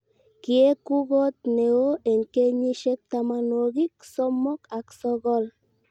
kiek u kot ne oo eng' kenyisiek tamanwokik somok ak sokol